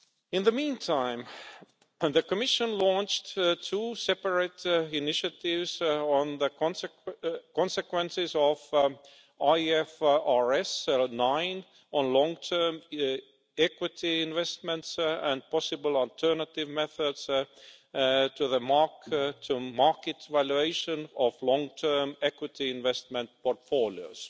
In the meantime, the Commission launched two separate initiatives on the consequences of IFRS 9 on long term equity investments and possible alternative methods to the mark to market valuation of long term equity investment portfolios.